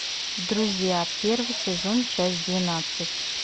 друзья первый сезон часть двенадцать